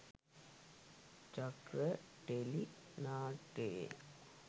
චක්‍ර ටෙලි නාට්‍යයේ